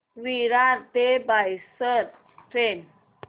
विरार ते बोईसर ट्रेन